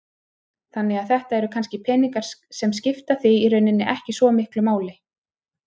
Þannig að þetta eru kannski peningar sem skipta þig í rauninni ekki svo miklu máli?